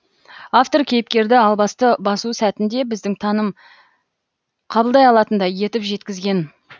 автор кейіпкерді албасты басу сәтін де біздің таным қабылдай алатындай етіп жеткізген